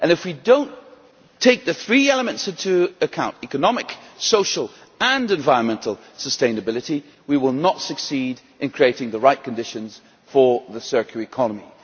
If we do not take the three elements into account economic, social and environmental sustainability we will not succeed in creating the right conditions for the circular economy.